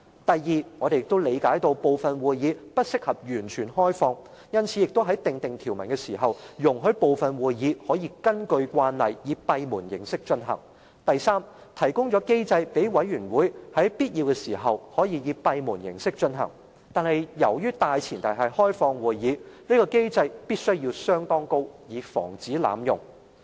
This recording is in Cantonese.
第二、我們理解部分會議不適合完全開放，因此在訂定條文時，容許部分會議可以根據慣例以閉門形式進行；及第三，提供機制讓委員會在必要時可以閉門形式進行，但由於大前提是要開放會議，這個機制的門檻必須相當高，以防止濫用。